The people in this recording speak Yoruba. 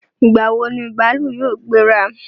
Ìgbà wo ni bàálù yóò gbéra?